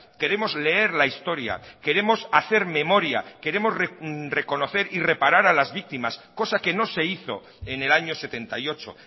queremos leer la historia queremos hacer memoria queremos reconocer y reparar a las víctimas cosa que no se hizo en el año setenta y ocho